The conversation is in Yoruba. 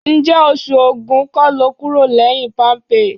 Ǹjẹ́ oṣù Ògún kọ́ lo kúrò lẹ́yìn Palmpay?